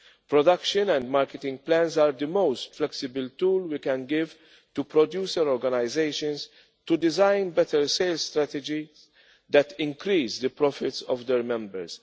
Production and marketing plans are the most flexible tool we can give to producer organisations to design better sales strategies that increase the profits of their members.